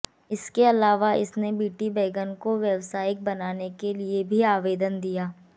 इसके अलावा इसने बीटी बैगन को व्यावासायिक बनाने के लिए भी आवेदन दिया